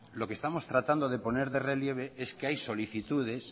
lo que estamos tratando de poner de relieve es que hay solicitudes